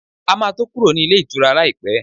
A ma tó kúrò nílé ìtura láìpẹ́